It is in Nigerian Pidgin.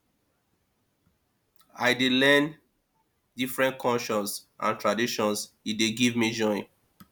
i dey learn different cultures and traditions e dey give me joy